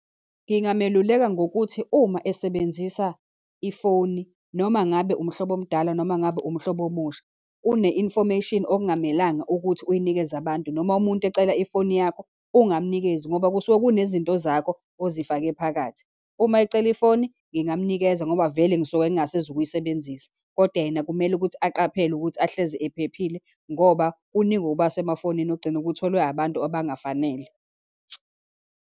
Ngingameluleka ngokuthi uma esebenzisa ifoni, noma ngabe umhlobo omdala, noma ngabe umhlobo omusha, kune-infomation okungamelanga ukuthi uyinikeze abantu, noma umuntu ecela ifoni yakho ungamnikezi, ngoba kusuke kunezinto zakho ozifake phakathi. Uma ecela ifoni, ngingamnikeza ngoba vele ngisuke ngingasezu kuyisebenzisa. Kodwa yena, kumele ukuthi aqaphele ukuthi ahlezi ephephile, ngoba kuningi okuba semafonini ogcina kutholwe abantu abangafanele.